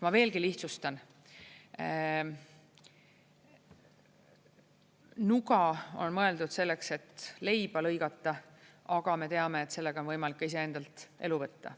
Ma veelgi lihtsustan: nuga on mõeldud selleks, et leiba lõigata, aga me teame, et sellega on võimalik ka iseendalt elu võtta.